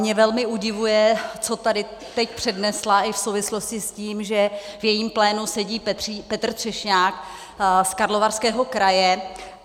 Mě velmi udivuje, co tady teď přednesla i v souvislosti s tím, že v jejím plénu sedí Petr Třešňák z Karlovarského kraje.